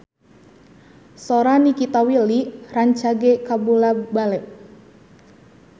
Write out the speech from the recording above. Sora Nikita Willy rancage kabula-bale